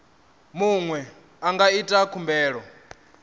muṅwe a nga ita khumbelo